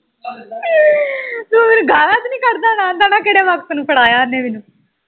ਤੂੰ ਮੈਨੂੰ ਗਾਲ਼ਾਂ ਤੇ ਨਹੀਂ ਕੱਢਦਾ ਹੋਣਾ ਆਉਂਦਾ ਹੋਣਾ ਕਿਹੜੇ ਵਕਤ ਨੂੰ ਫੜਾਇਆ ਉਹਨੇ ਮੈਨੂੰ